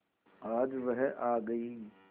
आज वह आ गई